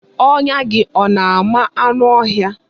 Ọnya gị ọ na-ama anụ ọhịa?